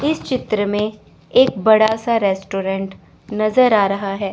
इस चित्र में एक बड़ा सा रेस्टोरेंट नजर आ रहा है।